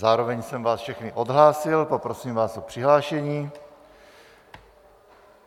Zároveň jsem vás všechny odhlásil, poprosím vás o přihlášení.